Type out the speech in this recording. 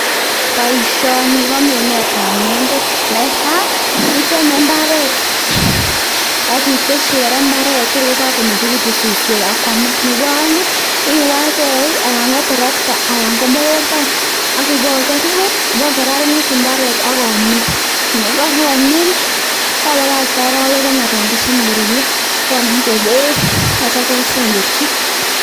Boishoni ko minetab ng'endek, netaa iteme mbaret ak itesyi kora imbaret Toor ko komeng'ekitun suswek akwamak, nebo oeng iwee ak eiik anan ko terekta anan ko mokomboik ak ibokerer ibakokararanit imbaret ak omin, yekaromin ibakakte orowek oeng anan ko somok koruryo onake beek akityo kesemberchi.